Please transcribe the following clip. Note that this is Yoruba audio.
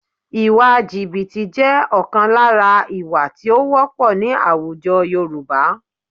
Ìwà jìbìtì jẹ́ ọ̀kan lára ìwà tí ó wọ́pọ̀ ní àwùjọ Yorùbá